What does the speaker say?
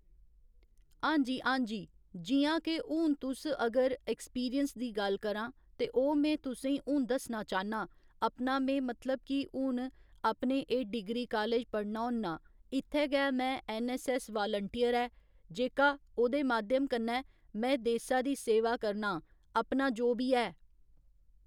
हांजी हांजी जि'यां के हून तु'स अगर एक्सपीरियंस दी गल्ल करां ते ओह् में तुसें ई हून दस्सना चाह्न्नां अपना में मतलब कि हून अपने एह् डिग्री कालेज पढ़ना होन्नां इत्थै गै में ऐन्नऐस्सऐस्स वालंटियर ऐ जेह्का ओह्दे माध्यम कन्नै में देसै दी सेवा करना आं अपना जो बी है।